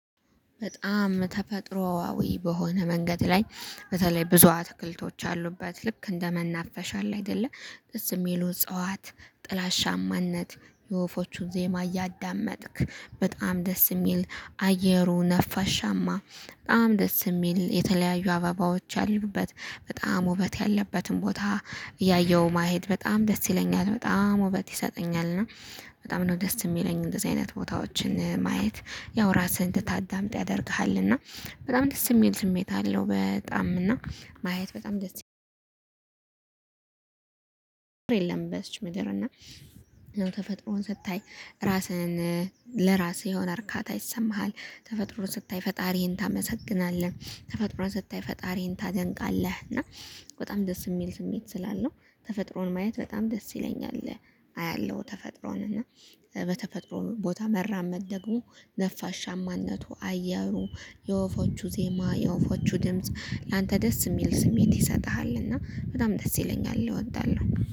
በጣም ተፈጥሮአዊ በሆነ መንገድ ላይ በተለይ ብዙ አትክልቶች አሉበት ልክ እንደመናፈሻል አለ አይደለ ደስ የሚሉ እጽዋት ጥላሻማነት የወፎቹን ዜማ እያዳመጥክ በጣም ደስ የሚል በጣም ተፈጥሮአዊ በሆነ መንገድ ላይ በተለይ ብዙ አትክልቶች አሉበት ልክ እንደመናፈሻል አለ አይደለ ደስ የሚሉ እጽዋት ጥላሻማነት የወፎቹን ዜማ እያዳመጥክ በጣም ደስ የሚል በጣም ነው ደስ የሚለኝ እንደዚህ አይነት ቦታዎችን ማየት ያው ራስህን እንድታዳምጥ ያደርግሃል እና በጣም ደስ የሚል ስሜት አለው። በጣም እና ማየት በጣም ደስ የለም። በዚች ምድር እና ያው ተፈጥሮን ስታይ ራስህን ለራስህ የሆነ እርካታ ይሰማሃል። ተፈጥሮ ስታይ ፈጣሪህን ታመሰግናለህ። ተፈጥሮ ስታይ ፈጣሪህን ታደንቃለህ። እና በጣም ደስ የሚል ስሜት ስላለው ተፈጥሮን ማየት በጣም ደስ ይለኛል። አያለሁ ተፈጥሮን እና በተፈጥሮን ቦታ መራመድ ደግሞ ነፋሻማነቱ አየሩ የወፎቹ ዜማ የወፎቹ ድምጽ ላንተ ደስ የሚል ስሜት ይሰጥሃል እና በጣም ደስ ይለኛል እወዳለሁ